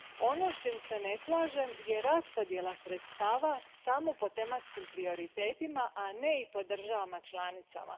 Ono s čim se ne slažem je raspodjela sredstava samo po tematskim prioritetima, a ne i po državama članicama.